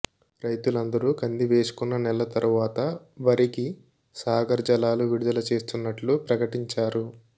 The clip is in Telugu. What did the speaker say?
రైతులందరూ కంది వేసుకున్న నెల తరువాత వరికి సాగర్ జలాలు విడుదల చేస్తున్నట్లు ప్రకటించారు